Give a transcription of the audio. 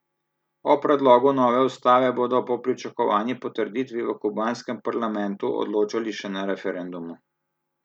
O predlogu nove ustave bodo po pričakovani potrditvi v kubanskem parlamentu odločali še na referendumu.